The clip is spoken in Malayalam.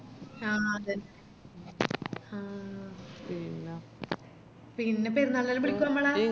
ആ അതെന്നെ ആ പിന്ന പെരുന്നാളിനെല്ലം ബിളിക്കുവ ഞമ്മളാ